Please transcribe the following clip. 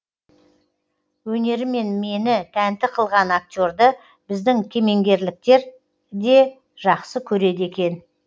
өнерімен мені тәнті қылған актерді біздің кемеңгерліктер де жақсы көреді екен